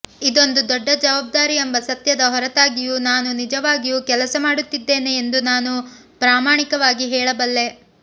ಇದೊಂದು ದೊಡ್ಡ ಜವಾಬ್ದಾರಿ ಎಂಬ ಸತ್ಯದ ಹೊರತಾಗಿಯೂ ನಾನು ನಿಜವಾಗಿಯೂ ಕೆಲಸ ಮಾಡುತ್ತಿದ್ದೇನೆ ಎಂದು ನಾನು ಪ್ರಾಮಾಣಿಕವಾಗಿ ಹೇಳಬಲ್ಲೆ